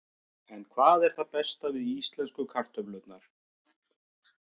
En hvað er það besta við íslensku kartöflurnar?